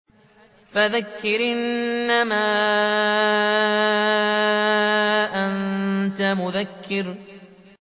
فَذَكِّرْ إِنَّمَا أَنتَ مُذَكِّرٌ